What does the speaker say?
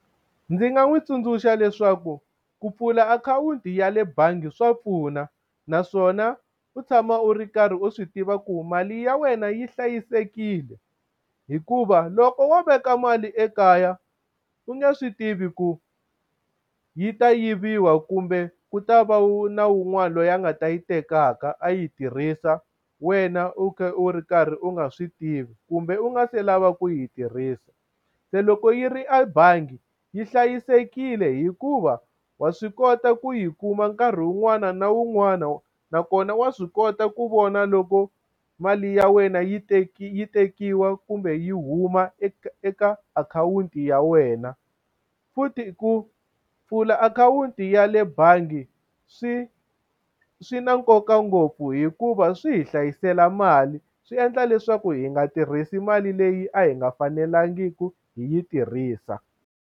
Ndzi nga n'wi tsundzuxa leswaku ku pfula akhawunti ya le bangi swa pfuna naswona u tshama u ri karhi u swi tiva ku mali ya wena yi hlayisekile hikuva loko wo veka mali ekaya u nge swi tivi ku yi ta yiviwa kumbe ku ta va wu na wun'wana loyi a nga ta yi tekaka a yi tirhisa wena u khe u ri karhi u nga swi tivi kumbe u nga se lava ku yi tirhisa se loko yi ri ebangi yi hlayisekile hikuva wa swi kota ku yi kuma nkarhi wun'wana na wun'wana nakona wa swi kota ku vona loko mali ya wena yi yi tekiwa kumbe yi huma eka eka akhawunti ya wena futhi ku pfula akhawunti ya le bangi swi swi na nkoka ngopfu hikuva swi hi hlayisela mali swi endla leswaku hi nga tirhisi mali leyi a hi nga fanelangiki hi yi tirhisa.